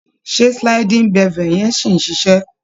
Ṣé sliding bevel yẹn ṣì ń ṣiṣé?